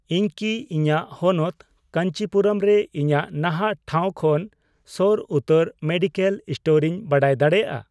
ᱤᱧ ᱠᱤ ᱤᱧᱟᱜ ᱦᱚᱱᱚᱛ ᱠᱟᱹᱧᱪᱤᱯᱩᱨᱟᱹᱢ ᱨᱮ ᱤᱧᱟᱜ ᱱᱟᱦᱟᱜ ᱴᱷᱟᱶ ᱠᱷᱚᱱ ᱥᱳᱨ ᱩᱛᱟᱹᱨ ᱢᱮᱰᱤᱠᱮᱞ ᱥᱴᱳᱨᱤᱧ ᱵᱟᱰᱟᱭ ᱫᱟᱲᱮᱭᱟᱜᱼᱟ ᱾